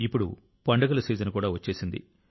ఇప్పుడు పండుగల సీజన్ కూడా వచ్చేసింది